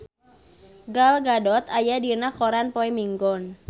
Gal Gadot aya dina koran poe Minggon